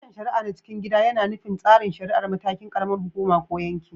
Sashen shari’a na cikin gida yAna nufin tsarin shari’a a matakin ƙaramar hukuma ko yanki